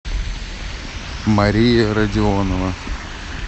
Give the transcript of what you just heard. мария родионова